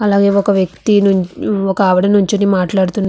అలాగే ఒక వ్యక్తి ఒక ఆవిడ నుంచి మాట్లాడుతున్నారు.